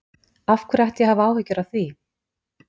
Af hverju ætti ég að hafa áhyggjur af því?